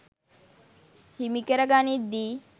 හිමි කර ගනිද්දී